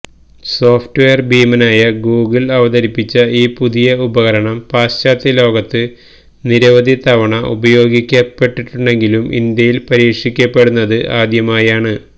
software ഭീമനായ Google അവതരിപ്പിച്ച ഈ പുതിയ ഉപകരണം പാശ്ചാത്യലോകത്ത് നിരവധി തവണ ഉപയോഗിക്കപ്പെട്ടിട്ടുണ്ടെങ്കിലും ഇന്ത്യയില് പരീക്ഷിക്കപ്പെടുന്നത് ആദ്യമായാണ്